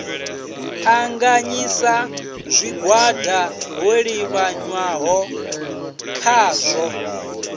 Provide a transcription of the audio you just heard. ṱanganyisa zwigwada ho livhiswaho khazwo